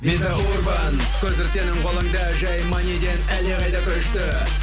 виза урбан көзір сенің қолыңда жай маниден әлдеқайда күшті